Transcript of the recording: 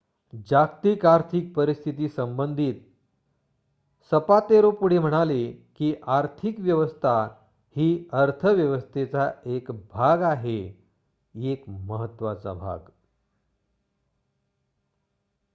"जागतिक आर्थिक परिस्थितीसंबंधित सपातेरो पुढे म्हणाले की "आर्थिक व्यवस्था ही अर्थव्यवस्थेचा एक भाग आहे एक महत्त्वाचा भाग.""